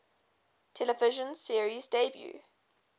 television series debuts